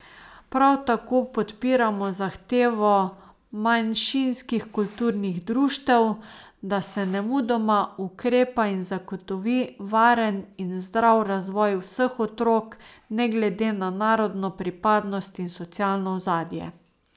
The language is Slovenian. Prav tako podpiramo zahtevo manjšinskih kulturnih društev, da se nemudoma ukrepa in zagotovi varen in zdrav razvoj vseh otrok ne glede na narodno pripadnost in socialno ozadje.